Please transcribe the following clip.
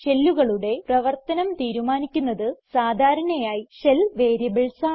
ഷെല്ലുകളുടെ പ്രവർത്തനം തീരുമാനിക്കുന്നത് സാധാരണയായി ഷെൽ വേരിയബിൾസ് ആണ്